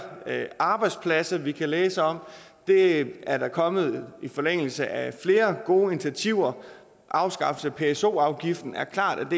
arbejdspladser vi kan læse om det er er der kommet i forlængelse af flere gode initiativer afskaffelse af pso afgiften er klart et